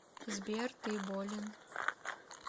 сбер ты болен